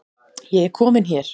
Ég er komin hér